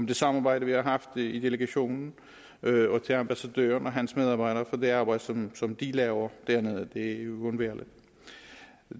det samarbejde vi har haft i delegationen og til ambassadøren og hans medarbejdere for det arbejde som som de laver dernede det er jo uundværligt